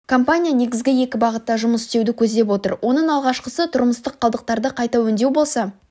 компания негізгі екі бағытта жұмыс істеуді көздеп отыр оның алғашқысы тұрмыстық қалдықтарды қайта өңдеу болса